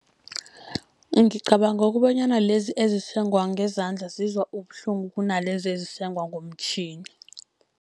Ngicabanga kobanyana lezi ezisengwa ngezandla, zizwa ubuhlungu kunalezi ezisengwa ngomtjhini.